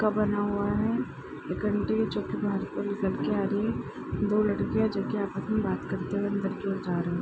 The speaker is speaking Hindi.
का बना हुआ है। एक अंटी है जो कि बाहर की ओर निकल के आ रही है। दो लड़की है जो कि आपस में बात करते हुए अन्दर की ओर जा रहीं --